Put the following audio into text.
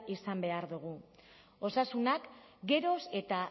izan behar dugu osasunak geroz eta